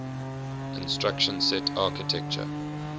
instruction set architecture